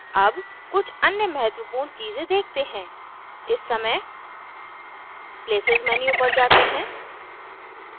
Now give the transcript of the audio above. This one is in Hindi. अब कुछ अन्य महत्वपूर्ण चीज़ें देखते हैं इस समय places menu पर जाते हैं